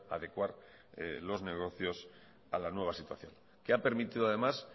adecuar los negocios a la nueva situación que ha permitido además